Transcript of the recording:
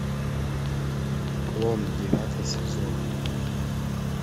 клон девятый сезон